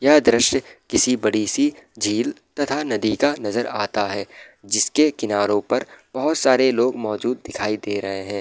यह दृश्य किसी बड़ी सी झील तथा नदी का नजर आता है जिसके किनारो पर बहुत सारे लोग मौजूद दिखाई दे रहे हैं।